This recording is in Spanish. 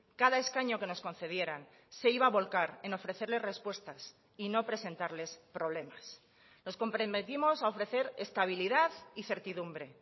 cada escaño que nos concedieran se iba a volcar en ofrecerles respuestas y no presentarles problemas nos comprometimos a ofrecer estabilidad y certidumbre